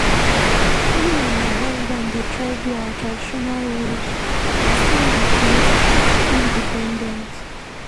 Me and my husband dey try do our traditional roles upon sey we dey independent.